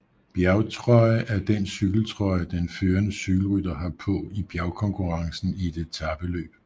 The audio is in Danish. Bjergtrøje er den cykeltrøje den førende cykelrytter har på i bjergkonkurrencen i et etapeløb